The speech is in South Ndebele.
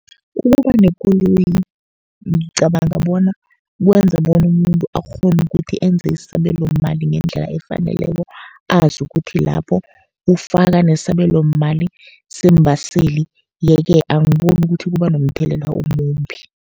Ukuba nekoloyi ngicabanga bona, kwenza bona umuntu akghone ukuthi enze isabelomali ngendlela efaneleko, azi ukuthi lapho ufaka nesabelomali seembaseli. Ye-ke angiboni ukuthi kuba nomthelela omumbi.